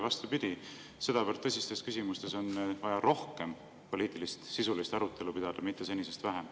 Vastupidi, sedavõrd tõsistes küsimustes on vaja pidada rohkem poliitilist, sisulist arutelu, mitte senisest vähem.